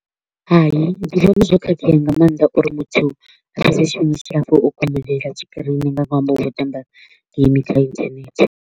Hai, ndi vhona zwo khakhea nga maanḓa uri muthu a fhedze tshifhinga tshilapfu o komolela tshikirini nga ṅwambo wa u tamba game kha internet.